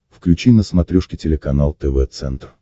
включи на смотрешке телеканал тв центр